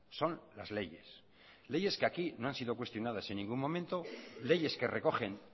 son las leyes leyes que aquí no han sido cuestionadas en ningún momento leyes que recogen